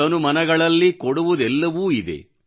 ತನು ಮನಗಳಲ್ಲಿ ಕೊಡುವುದೆಲ್ಲವೂ ಇದೆ